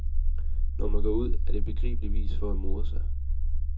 Når man går ud, er det begribeligvis for at more sig.